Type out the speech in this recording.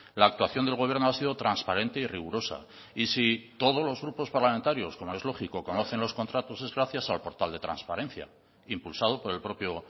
la actuación del gobierno ha sido transparente y rigurosa y si todos los grupos parlamentarios como es lógico conocen los contratos es gracias al portal de transparencia impulsado por el propio